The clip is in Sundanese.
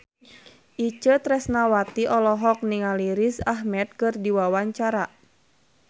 Itje Tresnawati olohok ningali Riz Ahmed keur diwawancara